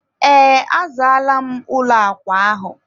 ee, azaala m ụlọ akwa ahụ.